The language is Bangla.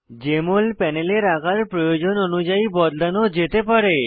জেএমএল প্যানেলের আকার প্রয়োজন অনুযায়ী বদলানো যেতে পারে